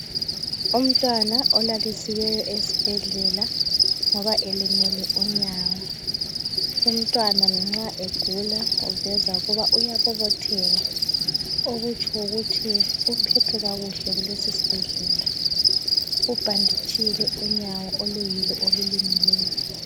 Umntwana olalisiweyo esibhedlela ngoba elimele unyawo. Umntwana lanxa egula uveza ukuba uyabobotheka, okutsho ukuthi uphethwe kuhle kulesi sibhedlela. Ubhanditshile unyawo oluyilo olulimeleyo.